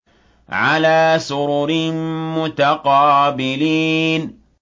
عَلَىٰ سُرُرٍ مُّتَقَابِلِينَ